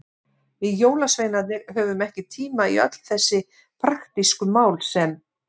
Við jólasveinarnir höfum ekki tíma í öll þessi praktísku mál sem.